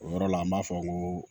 O yɔrɔ la an b'a fɔ n ko